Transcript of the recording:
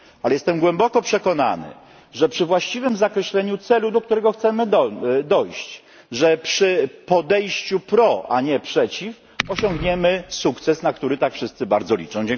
Ale jestem głęboko przekonany, że przy właściwym zakreśleniu celu, do którego chcemy dojść, że przy podejściu pro, a nie przeciw osiągniemy sukces, na który tak wszyscy bardzo liczą.